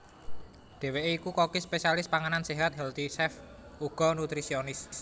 Dheweke iku koki spesialis panganan séhat healthy chef uga nutrisionis